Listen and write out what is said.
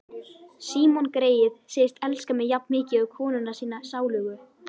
Símon greyið segist elska mig jafnmikið og konuna sína sálugu.